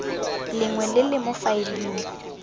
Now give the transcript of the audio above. lengwe le le mo faeleng